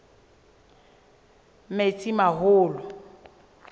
metsimaholo